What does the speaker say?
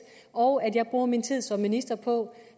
og at jeg bruger min tid som minister på